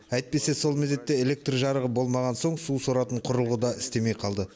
әйтпесе сол мезетте электр жарығы болмаған соң су соратын құрылғы да істемей қалды